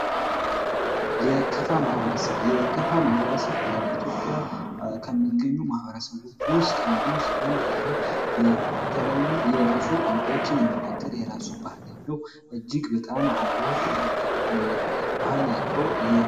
የከፋ ማህበረሰብ በኢትዮጵያ ከሚገኙ ማኅበረሰቦች ውስጥ አንዱ ሲሆን፤ ይህም የተለያዩ የራሱ ቋንቋዎችን የሚናገር የራሱ በባህል ያለው እጅግ በጣምውብ ባህል ያለው